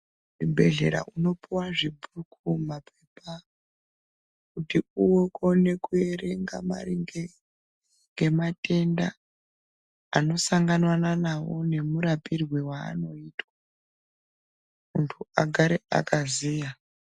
Kuzvibhedhleya unopuwa zvibhuku ,mapepa kuti ukone kuerenga maringe noematenda anosanganwana nawo nemurapirwo anoitwa muntu agare akaziya.